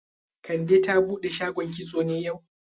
Kande ta bude shagon kitso ne yau?